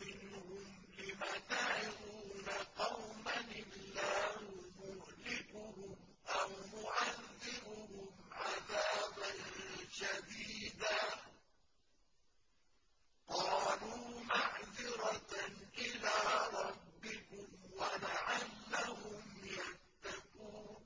مِّنْهُمْ لِمَ تَعِظُونَ قَوْمًا ۙ اللَّهُ مُهْلِكُهُمْ أَوْ مُعَذِّبُهُمْ عَذَابًا شَدِيدًا ۖ قَالُوا مَعْذِرَةً إِلَىٰ رَبِّكُمْ وَلَعَلَّهُمْ يَتَّقُونَ